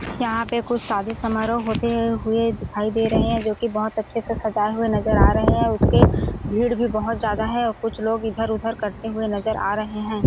यहाँ पे कोई शादी समारोह होते हुए दिखाई दे रहे है जोकि बोहोत अच्छे से सजाये हुए नजर आ रहे है उसके भीड़ भी बहुत ज्यादा है और कुछ लोग इधर-उधर करते हुए नजर आ रहे हैं।